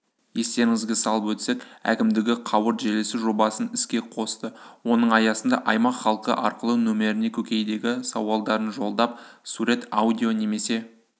естеріңізге салып өтсек әкімдігі қауырт желісі жобасын іске қосты оның аясында аймақ халқы арқылы нөміріне көкейдегі сауалдарын жолдап сурет аудио немесе